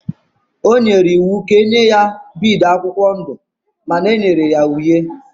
O nyere iwu ka e nye ya bead akwụkwọ ndụ akwụkwọ ndụ mana e nyere ya uhie.